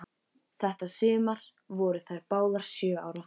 Þetta sumar voru þær báðar sjö ára.